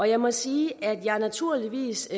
jeg må sige at jeg naturligvis